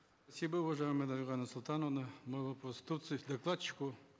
уважаемая дарига нурсултановна мой вопрос докладчику